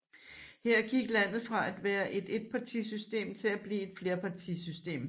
Her gik landet fra at være et etpartisystem til at blive et flerpartisystem